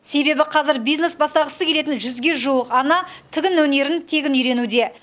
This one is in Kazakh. себебі қазір бизнес бастағысы келетін жүзге жуық ана тігін өнерін тегін үйренуде